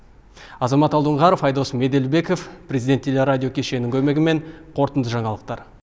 азамат алдоңғаров айдос меделбеков президент телерадиокешінінің көмегімен қорытынды жаңалықтар